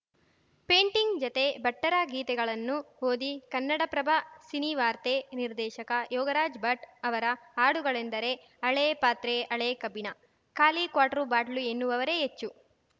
painting ಜತೆ ಭಟ್ಟರ ಗೀತೆಗಳನ್ನು ಓದಿ ಕನ್ನಡಪ್ರಭ ಸಿನಿವಾರ್ತೆ ನಿರ್ದೇಶಕ ಯೋಗರಾಜ್‌ ಭಟ್‌ ಅವರ ಹಾಡುಗಳೆಂದರೆ ಹಳೇ ಪಾತ್ರೆ ಹಳೆ ಕಬ್ಬಿಣ ಖಾಲಿ ಕ್ವಾರ್ಟು ಬಾಟ್ಲು ಎನ್ನುವವರೇ ಹೆಚ್ಚು